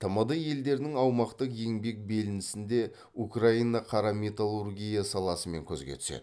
тмд елдерінің аумақтық еңбек белінісінде украина қара металлургия саласымен көзге түседі